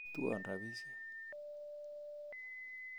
Tuwon rapishek